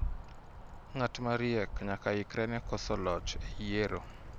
Ng'at mariek nyakaikre ne koso loch e yiero.